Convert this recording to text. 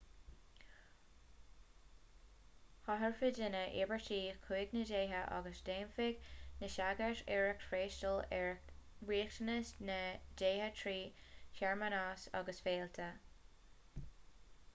thabharfadh daoine íobairtí chuig na déithe agus dhéanfadh na sagairt iarracht freastal ar riachtanais na ndéithe trí shearmanais agus féilte